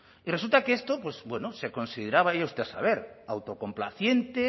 y resulta que esto pues bueno se consideraba vaya usted a saber autocomplaciente